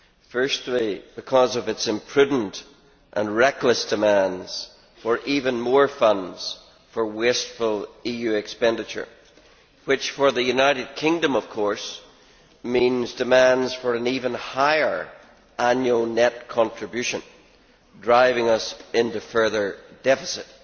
Firstly, because of its imprudent and reckless demands for even more funds for wasteful EU expenditure which for the United Kingdom, of course, means demands for an even higher annual net contribution, driving us into further deficit.